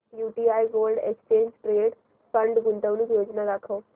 UTI gold exchange traded fund गुंतवणूक योजना दाखव